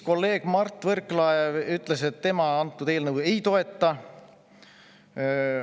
Kolleeg Mart Võrklaev ütles, et tema eelnõu ei toeta.